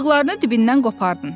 Bığlarını dibindən qopardın.